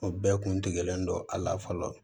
O bɛɛ kun degelen don a la fɔlɔ